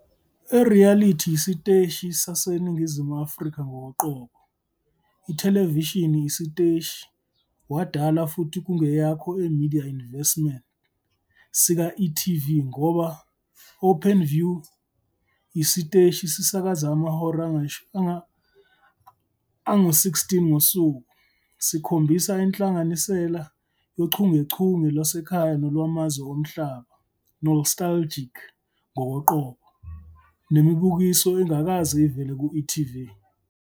eReality yisiteshi sase eNingizimu Afrika ngokoqobo ithelevishini isiteshi wadala futhi kungeyakho eMedia Investments sika e.tv ngoba OpenView. Isiteshi sisakaza amahora angu-16 ngosuku sikhombisa inhlanganisela yochungechunge lwasekhaya nolwamazwe omhlaba nostalgic ngokoqobo nemibukiso engakaze ivele ku-e.tv.